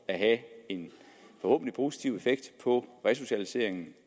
have en positiv effekt på resocialiseringen